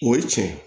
O ye cɛn ye